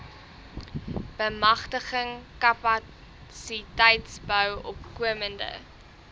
bemagtiging kapasiteitsbou opkomende